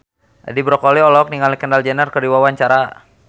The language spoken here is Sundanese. Edi Brokoli olohok ningali Kendall Jenner keur diwawancara